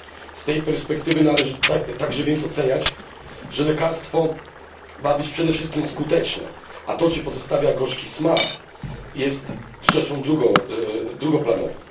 Z tej perspektywy należy więc także stwierdzić, że lekarstwo ma być przede wszystkim skuteczne, a to czy pozostawia gorzki smak, jest rzeczą drugoplanową.